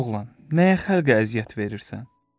Ey oğlan, nəyə xalqə əziyyət verirsən?